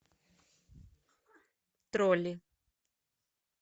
тролли